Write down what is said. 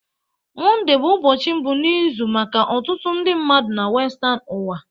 Monde bụ ụbọchị mbụ n'izu maka ọtụtụ ndị mmadụ na Western ụwa